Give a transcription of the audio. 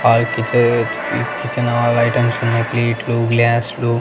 All kitchen all items ఉన్నయ్ ప్లేట్లు గ్లాస్లు .